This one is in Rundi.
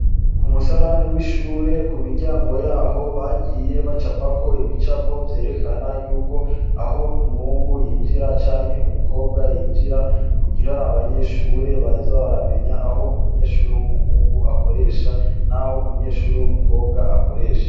K'umusarani w'ishure, ku miryango yaho bagiye baracapako ibicapo vyerekana yuko aho umuhungu yinjira canke umukobwa yinjira, kugira abanyeshure baze baramenya aho umunyeshure w'umuhungu akoresha, n'aho umunyeshure w'umukobwa akoresha.